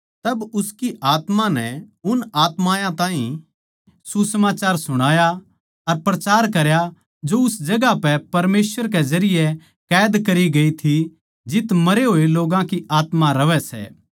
तब उसकी आत्मा नै उन आत्मायाँ ताहीं सुसमाचार सुणाया अर प्रचार करया जो उस जगहां पै परमेसवर के जरिये कैद करी गई थी जित्त मरे होए लोग्गां की आत्मा रहवै सै